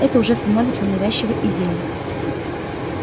это уже становится навязчивой идеей